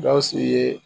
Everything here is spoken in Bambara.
Gawusu ye